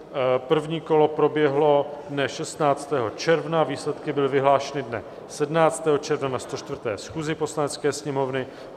První kolo proběhlo dne 16. června, výsledky byly vyhlášeny dne 17. června na 104. schůzi Poslanecké sněmovny.